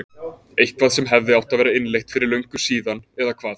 Eitthvað sem hefði átt að vera innleitt fyrir löngu síðan eða hvað?